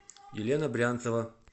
елена брянцева